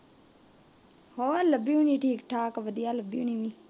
ਹੋਰ ਲੱਭੀ ਹੋਣੀ ਠੀਕ ਠਾਕ ਵਧੀਆ ਲੱਭੀ ਹੋਣੀ ਵੀ